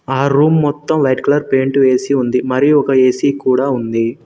ఆ రూమ్ మొత్తం white colour paint వేసి ఉంది మరియు ఒక ఏ_సీ కూడా ఉంది.